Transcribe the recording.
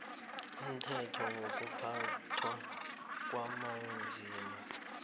umthetho wokuphathwa kwabanzima